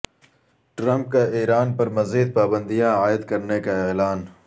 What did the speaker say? Trump کا Iran پر مزید پابندیاں عائد کرنے کا اعلان